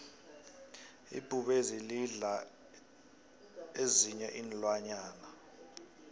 ibhubezi lidla ezinyei iinlwanyana